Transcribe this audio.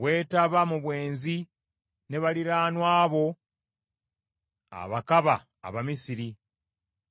Weetaba mu bwenzi ne baliraanwa bo abakaba Abamisiri,